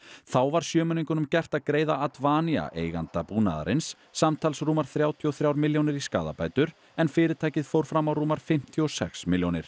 þá var gert að greiða Advania samtals rúmar þrjátíu og þrjár milljónir í skaðabætur en fyrirtækið fór fram á rúmar fimmtíu og sex milljónir